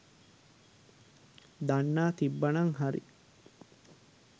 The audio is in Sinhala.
දන්නා තිබ්බනං හරි